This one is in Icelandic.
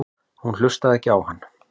Hún hlustaði ekki á hann.